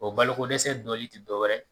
O balokodɛsɛ dɔli ti dɔw wɛrɛ ye.